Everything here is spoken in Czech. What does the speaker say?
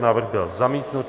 Návrh byl zamítnut.